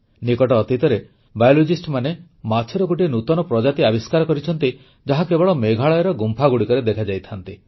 ନିକଟ ଅତୀତରେ ପ୍ରାଣୀବିଜ୍ଞାନୀମାନେ ମାଛର ଗୋଟିଏ ନୂତନ ପ୍ରଜାତି ଆବିଷ୍କାର କରିଛନ୍ତି ଯାହା କେବଳ ମେଘାଳୟର ଗୁମ୍ଫାଗୁଡ଼ିକରେ ଦେଖାଯାଇଥାନ୍ତି